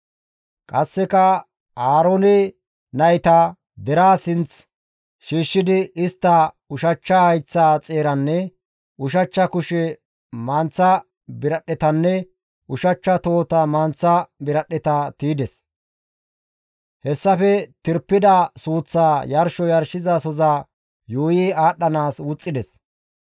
Qasseka Aaroone nayta deraa sinth shiishshidi istta ushachcha hayththata xeeranne ushachcha kushe manththa biradhdhetanne ushachcha tohota manththa biradhdheta tiydes; hessafe tirpida suuththaa yarsho yarshizasoza bolla yuuyi aadhdhanaas wuxxides.